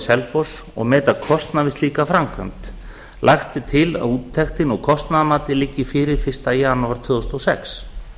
selfoss og meta kostnað við slíka framkvæmd lagt er til að úttektin og kostnaðarmat liggi fyrir fyrsta janúar tvö þúsund og sex